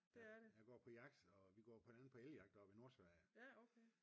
Jeg går på jagt og vi går blandt andet på elge jagt oppe i nord Sverige